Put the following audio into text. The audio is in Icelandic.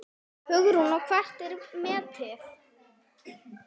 Hugrún: Og hvert er metið?